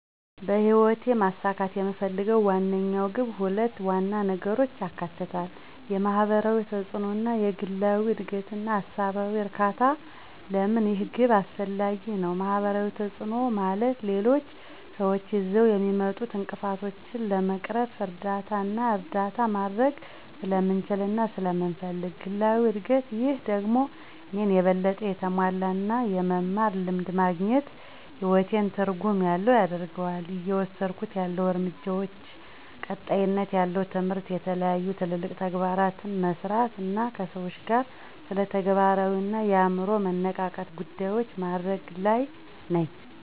በህይወት ማሳካት የምፈልገው ዋነኛው ግብ ሁለት ዋና ነገሮችን ያካትታል፦ የማህበራዊ ተጽእኖ እና የግላዊ እድገትና ሃሳባዊ እርካታ? ለምን ይህ ግብ አስፈላጊ ነው? ማህበራዊ ተጽእኖ፦ ማለት ሌሎች ስዎች ይዘው የሚመጡትን እንቅፍቶችን ለመቅረፍ እርዳታና እርዳታ ማድርግ ስለምችልና ስለመፈልግ። ግላዊ እድግት፦ ይህ ደግሞ እኔን የበለጠ የተሞላ እና የመማር ልምድ ማግኝት ህይወቴን ትርጉም ያለው ያደርገዋል። እየወስድኩት ያለሁ እርምጃዎች፦ ቀጣይነት ያለው ትምህርት፣ የተለያዩ ትልልቅ ተግባራትን መሠራት አና ከሰዎች ጋር ስለተግባራዊ አና የአምሮ መነቃቃት ጉዳዮችን ማድርግ ለይ ነኝ።